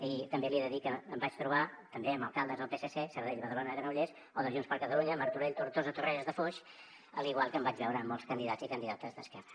i també li he de dir que em vaig trobar també amb alcaldes del psc sabadell badalona granollers o de junts per catalunya martorell tortosa torrelles de foix igual que em vaig veure amb molts candidats i candidates d’esquerra